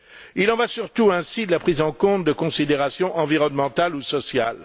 Il en va surtout ainsi de la prise en compte de considérations environnementales ou sociales.